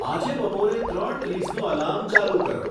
આજે બપોરે ત્રણ ત્રીસનું એલાર્મ ચાલુ કરો